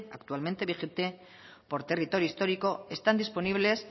actualmente vigente por territorio histórico están disponibles